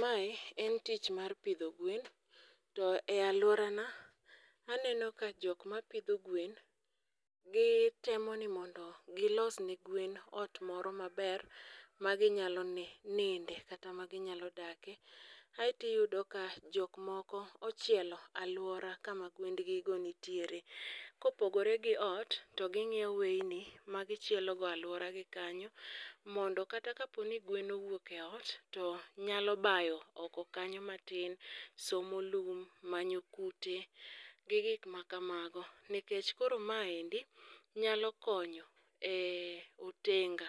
Mae en tich mar pidho gwen to e alworana, aneno ka jok ma pidho gwen, gi temo ni mondo gi los ne gwen ot moro maber ma ginyalo ni ninde kata mag nyalo dake. Aeto iyudo ka jok moko ochielo alwora kama gwend gi go nitiere. Kopogore gi ot to ginyiewo weyni magi chielogo alwora gi kanyo. Mondo kata kapo ni gwen owuok e ot to nyalo bayo oko kanyo matin, somo lum, manyo kute, gi gik makamago. Nikech koro maendi, nyalo konyo, eh, otenga.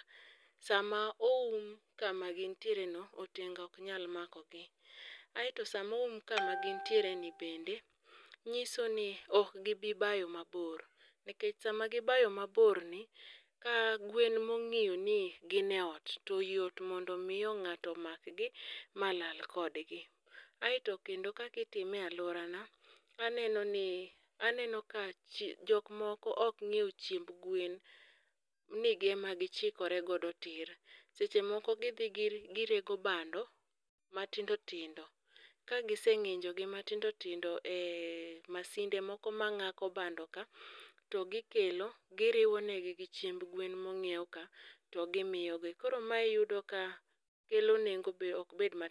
Sama oum kama gintiere no, otenga ok nyal makogi. Aeto sama oum kama gintiere ni bende, nyiso ni oK gibii bayo mabor. Nikech sama gibayo maborni, ka gwen mong'iyo ni gin e ot to yot mondo miyo ng'ato makgi ma lal kodgi. Aeto kendo ka kitime alworana, aneno ni, aneno ka jok moko ok nyiew chiemb gwen, ema gichikore godo tir. Sechemoko gidhi gir girego bando matindo tindo. Ka giseng'injogi matindo tindo, eh, masinde moko mang'ako bandoka to gikelo, giriwo negi gi chiemb gwen monyiew ka to gimiyo gi. Koro mae oyudu ka kelo nengo be ok bed mar.